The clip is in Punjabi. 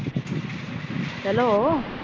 ਚਲੋ।